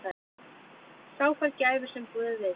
Sá fær gæfu sem guð vill.